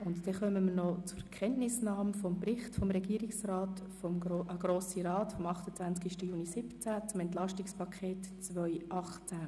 Jetzt kommen wir noch zur Kenntnisnahme des Berichts des Regierungsrats an den Grossen Rat zum EP 2018.